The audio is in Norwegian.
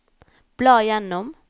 bla gjennom